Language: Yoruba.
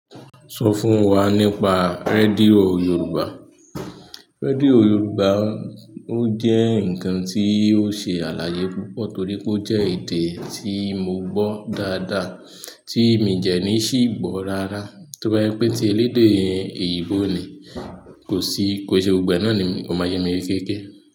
Sọ fún wa nípa rédíò Yorùbá. Rédíò Yorùbá ó jẹ́ nǹkan tí ó ṣe àlàyé púpọ̀ torí pé ó jẹ́ èdè tí mo gbọ́ dáadáa tí mi dẹ̀ ní ṣì gbọ́ rárá. Tó bá jẹ́ pé tí elédè òyìnbó ni kò sí kò é se gbogbo ẹ̀ náà ni mo máa jẹ́ morí.